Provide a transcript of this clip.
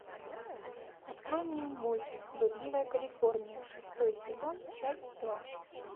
открой мне мульт блудливая калифорния шестой сезон часть два